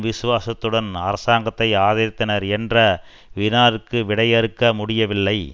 விசுவாசத்துடன் அரசாங்கத்தை ஆதரித்தனர் என்ற வினாவிற்கு விடையிறுக்க முடியவில்லை